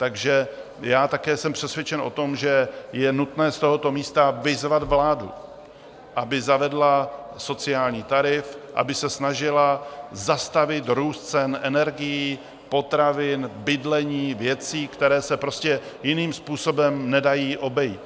Takže já také jsem přesvědčen o tom, že je nutné z tohoto místa vyzvat vládu, aby zavedla sociální tarif, aby se snažila zastavit růst cen energií, potravin, bydlení, věcí, které se prostě jiným způsobem nedají obejít.